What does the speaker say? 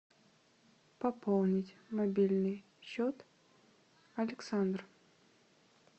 пополнить мобильный счет александр